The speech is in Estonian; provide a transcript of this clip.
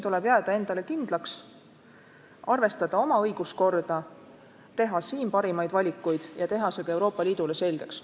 Tuleb jääda endale kindlaks, arvestada oma õiguskorda, teha ise parimaid valikuid ja teha see ka Euroopa Liidule selgeks.